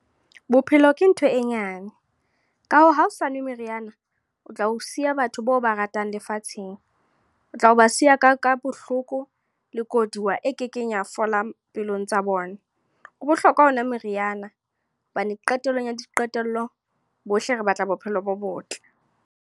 Bophelo ke ntho e nyane. Ka hoo, ha o sa nwe meriana, o tla o siya batho bao ba ratang lefatsheng. O tla ba siya ka ka bohloko, le koduwa e kekeng ya fola pelong tsa bona. Ho bohlokwa ho nwa meriana, hobane qetellong ya diqetello bohle re batla bophelo bo botle.